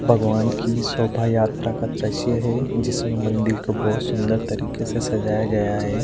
भगवान की शोभा यात्रा का दृश्य है जिसमें मंदिर को बहोत सुंदर तरीके से सजाया गया है।